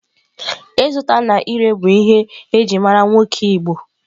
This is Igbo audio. Ịzụta na ire bụ ihe e ji mara nwoke igbo.